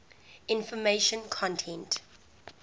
information content